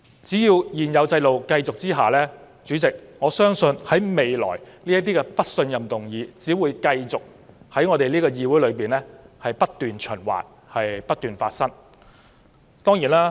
只要現行制度持續，主席，我相信這類"不信任"議案未來將會繼續被提上我們這個議會，循環不息。